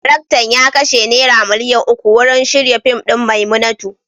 Daraktan ya kashe naira miliyan uku wurin shirya fim din "Maimunatu".